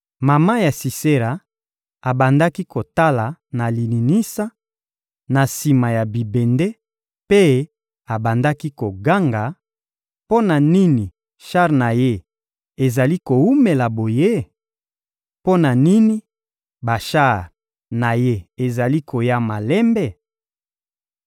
Mama ya Sisera abandaki kotala na lininisa, na sima ya bibende, mpe abandaki koganga: «Mpo na nini shar na ye ezali kowumela boye? Mpo na nini bashar na ye ezali koya malembe?»